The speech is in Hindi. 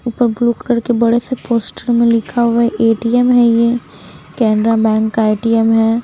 ब्लू कलर के बड़े से पोस्टर में लिखा हुआ है ए_टी_एम है ये केनरा बैंक का ए_टी_एम है।